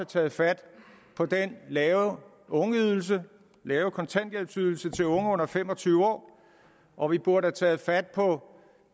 taget fat på den lave ungeydelse lave kontanthjælpsydelse til unge under fem og tyve år og vi burde have taget fat på